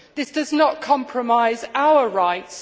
This does not compromise our rights.